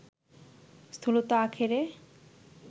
স্থূলতা আখেরে